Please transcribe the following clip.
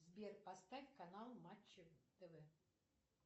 сбер поставь канал матч тв